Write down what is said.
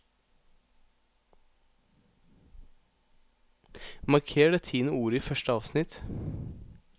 Marker det tiende ordet i første avsnitt